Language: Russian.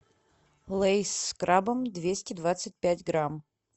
лейс с крабом двести двадцать пять грамм